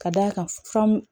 Ka d'a kan famu